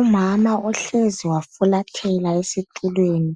Umama ohlezi wafulathela esitulweni